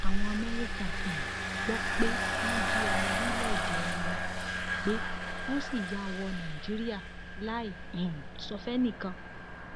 àwọn amẹríkà um gbọ pé wọn jí ọmọ orílẹèdè wọn gbé wọn sì yà wò nàìjíríà láì um sọ fẹnìkan